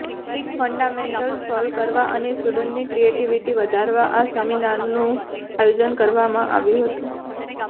basic fundamental solve કરવા અને સ્ટુડન્ટ્સની ક્રિએટિવિટી વધારવા આ સેમિનારનું આયોજન કરવામાં આવ્યું હતું